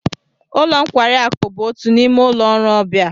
Ụlo nkwari aku bụ otu n'ime ụlọ ọrụ ọbịa